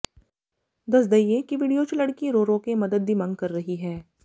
ਦਸ ਦਈਏ ਕਿ ਵੀਡੀਓ ਚ ਲੜਕੀ ਰੋ ਰੋ ਕੇ ਮਦਦ ਦੀ ਮੰਗ ਕਰ ਰਹੀ ਹੈ